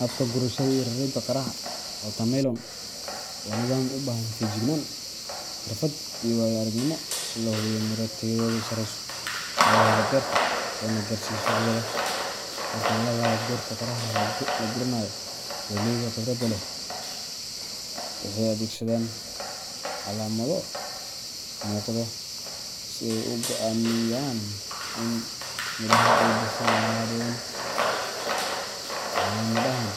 Habka gurashada iyo raridda qaraha watermelon waa nidaam u baahan feejignaan, xirfad, iyo waayo aragnimo si loo hubiyo in miro tayadoodu sarreyso laga helo beerta loona gaarsiiyo suuqyada. Marka laga hadlayo goorta qaraha la guranayo, beeraleyda khibradda leh waxay adeegsadaan calaamado muuqda si ay u go’aamiyaan in midhaha ay bislaadeen. Calaamadahan